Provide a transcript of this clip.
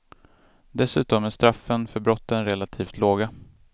Dessutom är straffen för brotten relativt låga.